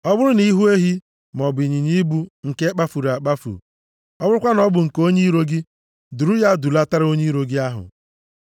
“Ọ bụrụ na ị hụ ehi, maọbụ ịnyịnya ibu nke kpafuru akpafu, ọ bụrụkwa na ọ bụ nke onye iro gị, duru ya dulatara onye iro gị ahụ.